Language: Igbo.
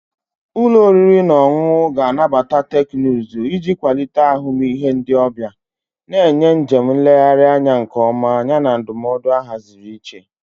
Ụlọ oriri na ọṅụṅụ ga-anabata teknụzụ iji kwalite ahụmịhe ndị ọbịa, na-enye njem nlegharị anya nke ọma yana ndụmọdụ ahaziri iche.